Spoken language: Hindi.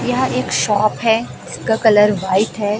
यह एक शॉप है इसका कलर व्हाइट है।